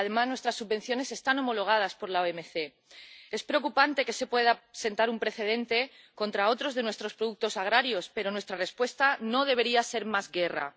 Además, nuestras subvenciones están homologadas por la OMC. Es preocupante que se pueda sentar un precedente contra otros de nuestros productos agrarios, pero nuestra respuesta no debería ser más guerra.